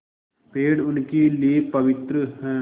पेड़ उनके लिए पवित्र हैं